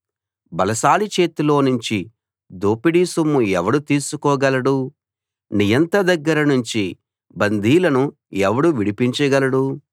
బలశాలి చేతిలోనుంచి దోపిడీ సొమ్ము ఎవడు తీసుకోగలడు నియంత దగ్గర నుంచి బందీలను ఎవడు విడిపించగలడు